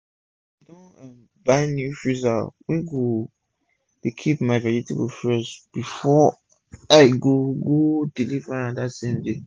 i don um buy new freezer wey go dey keep my vegetable fresh before i go go deliver am dat same day